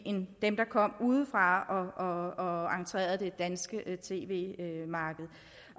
dem der kom udefra og entrerede det danske tv marked